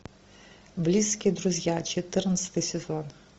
близкие друзья четырнадцатый сезон